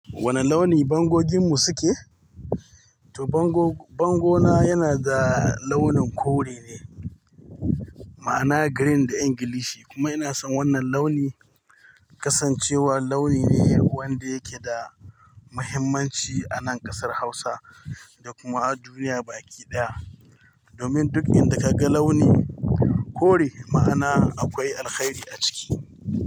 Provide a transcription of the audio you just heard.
Wane launi bangogin mu suke? To bango, bango na yana da launin kore ne, ma'ana green da Ingilishi. Kuma ina son wannan launi, kasancewar launi ne wanda yake da muhimmanci a nan ƙasar Hausa da kuma a duniya baki ɗaya. Domin duk inda ka ga launi kore ma'ana akwai alkhairi a ciki.